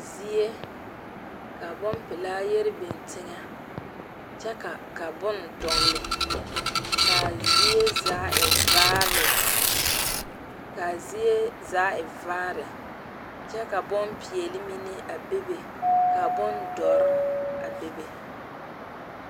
Zie la ka bonpelaa yɛre biŋ teŋɛ, kyɛ ka bon dɔgeli, kaa zie zaa e vaare kyɛ ka bonpɛɛle mine a bebe ka bondoɔre a bebe